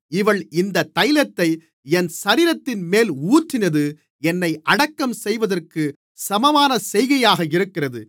இவள் இந்தத் தைலத்தை என் சரீரத்தின்மேல் ஊற்றினது என்னை அடக்கம் செய்வதற்கு சமமான செய்கையாக இருக்கிறது